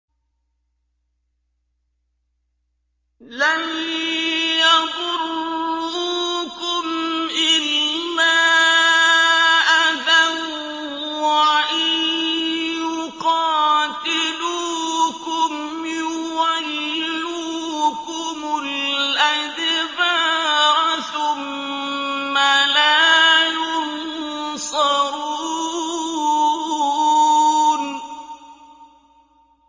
لَن يَضُرُّوكُمْ إِلَّا أَذًى ۖ وَإِن يُقَاتِلُوكُمْ يُوَلُّوكُمُ الْأَدْبَارَ ثُمَّ لَا يُنصَرُونَ